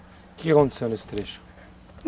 O que aconteceu nesse trecho?